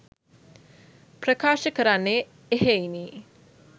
ප්‍රකාශ කරන්නේ එහෙයිනි.